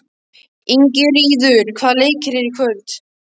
Ingiríður, hvaða leikir eru í kvöld?